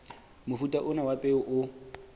mofuta ona wa peo o